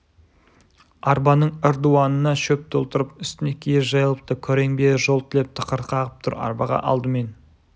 арбаның ырдуанына шөп толтырып үстіне киіз жайылыпты күрең бие жол тілеп тықыр қағып тұр арбаға алдымен